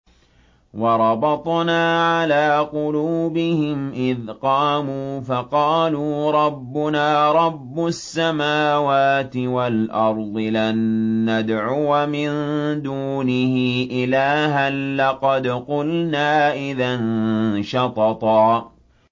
وَرَبَطْنَا عَلَىٰ قُلُوبِهِمْ إِذْ قَامُوا فَقَالُوا رَبُّنَا رَبُّ السَّمَاوَاتِ وَالْأَرْضِ لَن نَّدْعُوَ مِن دُونِهِ إِلَٰهًا ۖ لَّقَدْ قُلْنَا إِذًا شَطَطًا